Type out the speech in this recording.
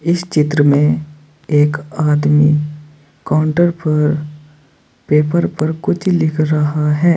इस चित्र में एक आदमी काउंटर पर पेपर पर कुछ लिख रहा है।